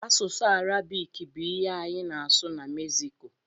Asụsụ Arabik bụ ihe anyị na-asụ na Meksiko.